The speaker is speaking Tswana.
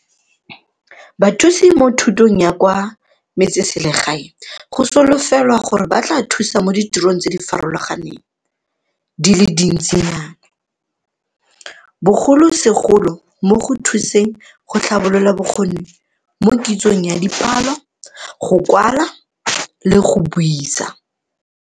Bathusi mo Thutong ya kwa Metseselegae go solofelwa gore ba tla thusa mo ditirong tse di farologaneng di le dintsinyana, bogolosegolo mo go thuseng go tlhabolola bokgoni mo kitsong ya dipalo, go kwala le ya go buisa.